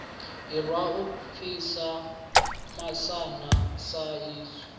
irwa u pfi masana saizwi